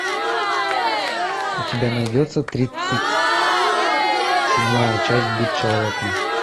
у тебя найдется тридцать седьмая часть быть человеком